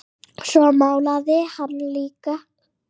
Svo málaði hann líka.